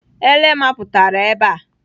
Ele mapụtara ebe a.